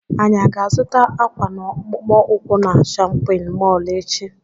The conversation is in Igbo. Anyị aga azụta akwa na akpụkpọ ukwu na shóppin mol echi?